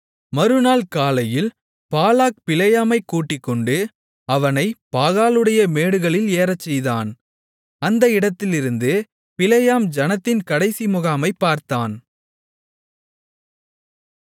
மறுநாள் காலையில் பாலாக் பிலேயாமைக் கூட்டிக்கொண்டு அவனைப் பாகாலுடைய மேடுகளில் ஏறச்செய்தான் அந்த இடத்திலிருந்து பிலேயாம் ஜனத்தின் கடைசி முகாமைப் பார்த்தான்